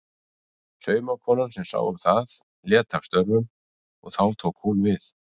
Saumakonan sem sá um það lét af störfum og þá tók hún við.